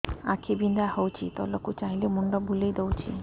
ଆଖି ବିନ୍ଧା ହଉଚି ତଳକୁ ଚାହିଁଲେ ମୁଣ୍ଡ ବୁଲେଇ ଦଉଛି